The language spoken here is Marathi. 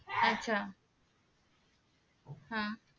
आच्छा हा